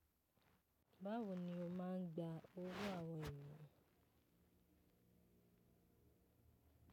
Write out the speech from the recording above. Báwo ni ó máa ń gba owó àwọn ènìyàn?